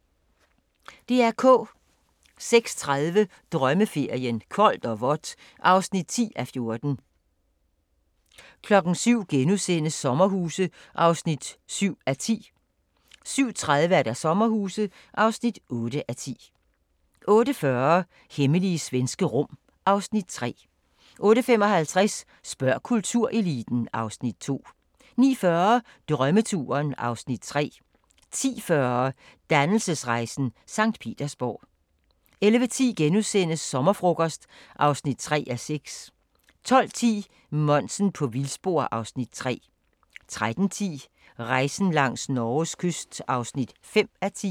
06:30: Drømmeferien: Koldt og vådt (10:14) 07:00: Sommerhuse (7:10)* 07:30: Sommerhuse (8:10) 08:40: Hemmelige svenske rum (Afs. 3) 08:55: Spørg kultureliten (Afs. 2) 09:40: Drømmeturen (Afs. 3) 10:40: Dannelsesrejsen – Sankt Petersborg 11:10: Sommerfrokost (3:6)* 12:10: Monsen på vildspor (Afs. 3) 13:10: Rejsen langs Norges kyst (5:10)